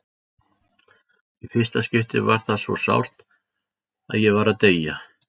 Í fyrsta skipti var það svo sárt að ég var að deyja.